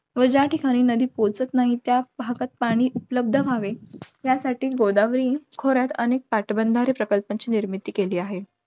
व ज्या ठिकाणी नदी पोहोचत नाही, त्या भागात पाणी उपलब्ध व्हावे, यासाठी गोदावरी खोऱ्यात अनेक पाटबंधारे प्रकल्पांची निर्मिती केली आहे.